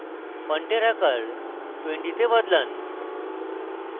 ফন্টের আকার 20 তে বদলান